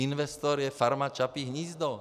Investor je Farma Čapí hnízdo.